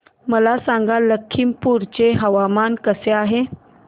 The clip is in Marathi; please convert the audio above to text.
मला सांगा लखीमपुर चे हवामान कसे आहे